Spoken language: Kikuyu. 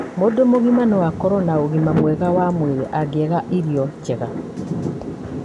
Mũndũ mũgima no akorũo na ũgima mwega wa mwĩrĩ angĩaga irio njega.